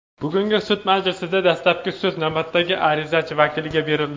Bugungi sud majlisida dastlabki so‘z navbati arizachi vakiliga berildi.